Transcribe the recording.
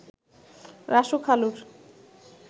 Rasu খালুর